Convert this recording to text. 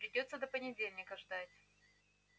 придётся до понедельника ждать